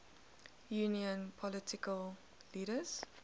union political leaders